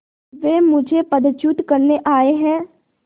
वे मुझे पदच्युत करने आये हैं